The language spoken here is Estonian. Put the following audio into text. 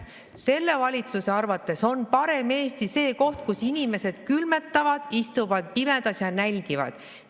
Selle valitsuse arvates on parem Eesti see koht, kus inimesed külmetavad, istuvad pimedas ja nälgivad.